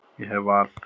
Ég hef val.